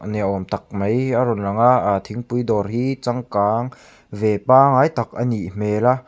ni awm tak mai a rawn lang a ah thingpui dawr hi changkang ve pangai tak a nih hmel a.